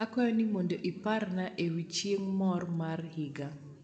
akwayo ni mondo iprana ewi chieng mor mar higa